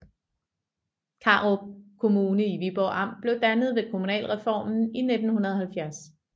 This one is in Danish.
Karup Kommune i Viborg Amt blev dannet ved kommunalreformen i 1970